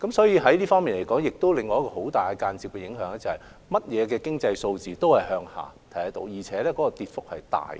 因此，這方面亦出現了另一個很大的間接影響，就是我們見到所有經濟數字均下跌，而且跌幅甚大。